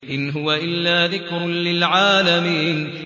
إِنْ هُوَ إِلَّا ذِكْرٌ لِّلْعَالَمِينَ